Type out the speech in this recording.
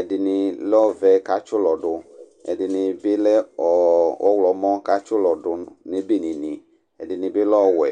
ɛdɩnɩ lɛ ɔvɛ kʊ atsi ulɔ du, ɛdɩnɩ bɩ lɛ ɔwlɔmɔ, kʊ atsi ʊlɔ dʊ nʊ ebenenɩ, ɛdɩnɩ bɩ lɛ ɔwɛ